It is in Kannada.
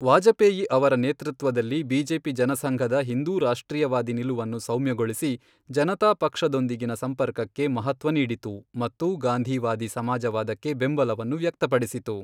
ವಾಜಪೇಯಿ ಅವರ ನೇತೃತ್ವದಲ್ಲಿ, ಬಿಜೆಪಿ ಜನಸಂಘದ ಹಿಂದೂ ರಾಷ್ಟ್ರೀಯವಾದಿ ನಿಲುವನ್ನು ಸೌಮ್ಯಗೊಳಿಸಿ, ಜನತಾ ಪಕ್ಷದೊಂದಿಗಿನ ಸಂಪರ್ಕಕ್ಕೆ ಮಹತ್ವ ನೀಡಿತು ಮತ್ತು ಗಾಂಧಿವಾದಿ ಸಮಾಜವಾದಕ್ಕೆ ಬೆಂಬಲವನ್ನು ವ್ಯಕ್ತಪಡಿಸಿತು.